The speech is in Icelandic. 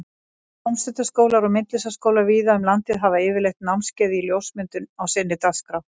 Tómstundaskólar og myndlistaskólar víða um landið hafa yfirleitt námskeið í ljósmyndun í sinni dagskrá.